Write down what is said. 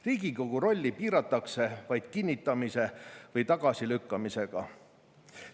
Riigikogu rolli piiratakse vaid kinnitamise või tagasilükkamisega.